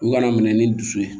U kana minɛ ni dusu ye